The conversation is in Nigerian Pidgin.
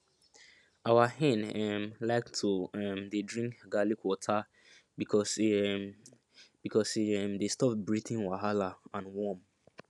our hen um like to um dey drink garlic water because e um because e um dey stop breathing wahala and worm